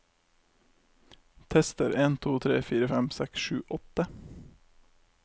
Tester en to tre fire fem seks sju åtte